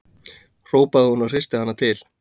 hrópaði hún og hristi hana til.